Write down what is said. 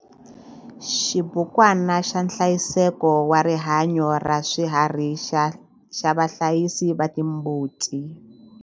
Xibukwana xa nhlayiseko wa rihanyo ra swiharhi xa vahlayisi va timbuti.